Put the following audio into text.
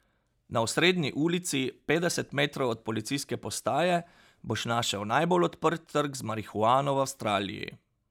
Na osrednji ulici, petdeset metrov od policijske postaje, boš našel najbolj odprt trg z marihuano v Avstraliji.